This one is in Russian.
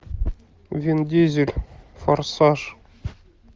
вин дизель форсаж